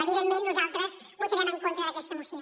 evidentment nosaltres votarem en contra d’aquesta moció